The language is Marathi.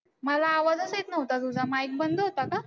मला आवाजच येत नव्हता तुझा mike बंद होता का?